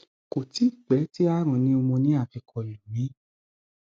kò tíì pẹ tí àrùn pneumonia fi kọ lù mí